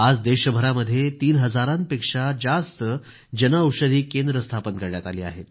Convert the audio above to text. आज देशभरामध्ये तीन हजारापेक्षा जास्त जनऔषधी केंद्रं स्थापन करण्यात आली आहेत